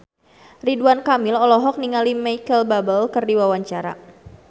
Ridwan Kamil olohok ningali Micheal Bubble keur diwawancara